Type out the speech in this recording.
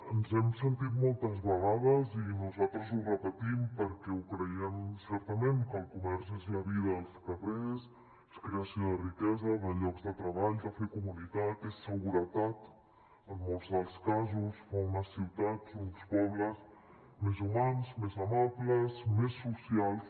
ens hem sentit moltes vegades i nosaltres ho repetim perquè ho creiem certament que el comerç és la vida als carrers és creació de riquesa de llocs de treball de fer comunitat és seguretat en molts dels casos fa unes ciutats uns pobles més humans més amables més socials